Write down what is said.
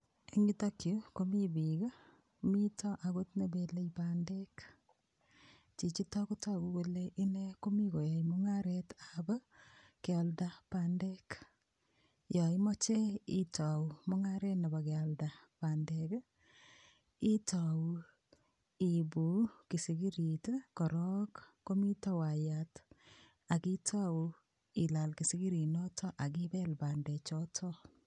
Eng yutokyu komi piik, mito akot ne bele bandek, chichito ko toku kole ine komi koyoe mungaretab kealda bendek, yo imoche itau mungaret nebo kealda bandek ii, itau iibu kisikirit ii korok komito wayat, ak itau ilal kisikirinoto ak ibel bandechoto.